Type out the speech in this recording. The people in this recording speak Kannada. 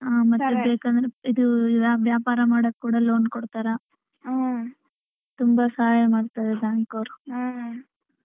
ಹ್ಮ್ ಮತ್ತೆ ಬೇಕಂದ್ರೆ ಇದು ವ್ಯಾಪಾರ ಮಾಡಾಕ್ ಕೂಡಾ loan ಕೊಡತಾರ ಹ್ಮ್ ತುಂಬಾ ಸಹಾಯ ಮಾಡ್ತಾರೆ bank ಅವ್ರು.